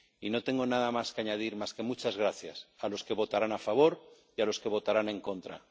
Y no tengo nada más que añadir, salvo muchas gracias a los que votarán a favor y a los que votarán en contra.